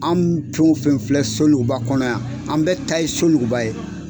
An fɛn fɛn filɛ Soluguba kɔnɔ yan an bɛ ta ye Soluguba ye.